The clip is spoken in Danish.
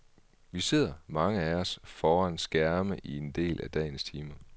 Vi sidder, mange af os, foran skærme i en del af dagens timer.